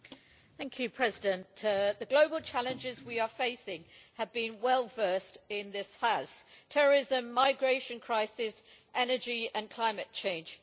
Madam President, the global challenges we are facing have been well versed in this House terrorism, the migration crisis, energy and climate change.